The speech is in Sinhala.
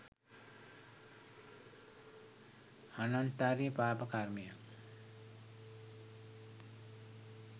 ආනන්තරිය පාප කර්මයක්